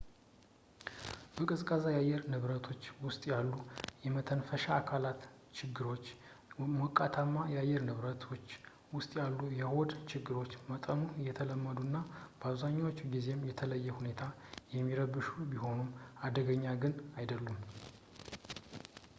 በቀዝቃዛ የአየር ንብረቶች ውስጥ ያሉ የመተንፈሻ አካላት ችግሮች በሞቃታማ የአየር ንብረቶች ውስጥ ያሉ የሆድ ችግሮች በመጠኑ የተለመዱና በአብዛኛዎቹ ጊዜም በተለየ ሁኔታ የሚረብሹ ቢሆኑም አደገኛ ግን አይደሉም